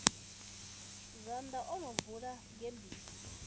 zwanḓa o no bvula gebisi